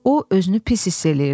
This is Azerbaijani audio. O, özünü pis hiss eləyirdi.